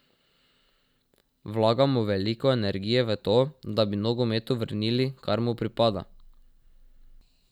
Vlagamo veliko energije v to, da bi nogometu vrnili, kar mu pripada.